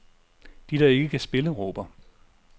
De, der ikke kan spille, råber.